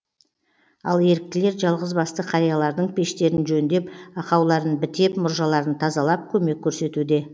ал еріктілер жалғызбасты қариялардың пештерін жөндеп ақауларын бітеп мұржаларын тазалап көмек көрсетуде